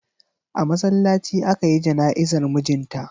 A masallaci aka yi jana'izar mijin ta.